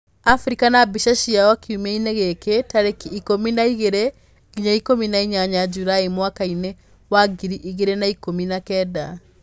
Afrika na mbica ciayo kiumia-inĩ gĩkĩ: Tariki Ikũmi na igĩrĩ nginya ikũmi na inyanya Julaĩ mwakainĩ wa ngiri igĩrĩ na ikũmi na kenda